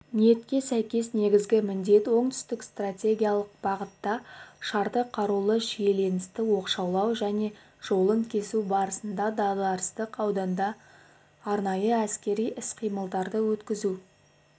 ниетке сәйкес негізгі міндет оңтүстік стратегиялық бағытта шартты қарулы шиеленісті оқшаулау және жолын кесу барысында дағдарыстық ауданда арнайы әскери іс-қимылдарды өткізу